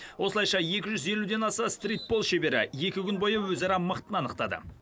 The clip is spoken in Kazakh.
осылайша екі жүз елуден аса стритбол шебері екі күн бойы өзара мықтыны анықтады